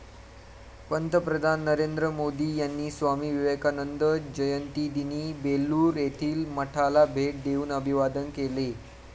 पंतप्रधान नरेंद्र मोदी यांनी स्वामी विवेकानंद जयंतीदिनी बेल्लूर येथील मठाला भेट देऊन अभिवादन केले.